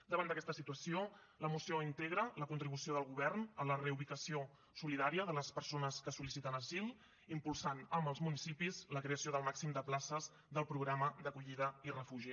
davant d’aquesta situació la moció integra la contribució del govern a la reubicació solidària de les persones que sol·liciten asil impulsant amb els municipis la creació del màxim de places del programa d’acollida i refugi